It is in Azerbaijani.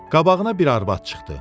Qabağına bir arvad çıxdı.